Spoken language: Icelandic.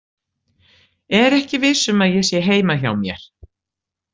Er ekki viss um að ég sé heima hjá mér.